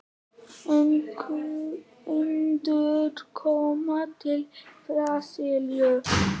Endurkoma til Brasilíu?